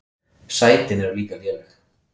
Sætin eru líka léleg.